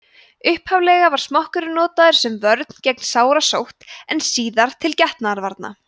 upphaflega var smokkurinn notaður sem vörn gegn sárasótt en síðar til getnaðarvarna